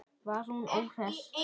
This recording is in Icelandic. Var hún óhress?